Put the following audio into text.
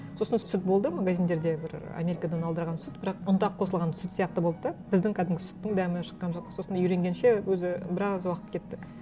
сосын сүт болды магазиндерде бір америкадан алдырған сүт бірақ ұнтақ қосылған сүт сияқты болды да біздің кәдімгі сүттің дәмі шыққан жоқ сосын үйренгенше өзі біраз уақыт кетті